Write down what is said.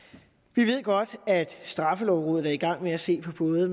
vi ved godt at straffelovrådet er i gang med at se på både